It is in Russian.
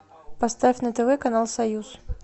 поставь на тв канал союз